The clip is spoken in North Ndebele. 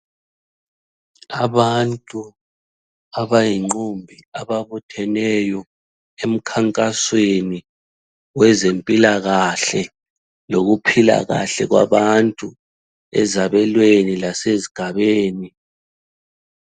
Abantu abayinqumbi ababutheneyo emkhankasweni kwezempilakahle lokuphila kahle kwabantu ezabelweni lasezigabeni.